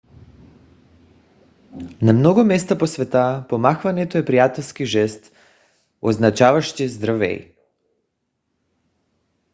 на много места по света помахването е приятелски жест означаващ здравей